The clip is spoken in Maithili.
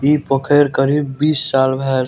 इ पोखर करीब बीस साल भाय गे --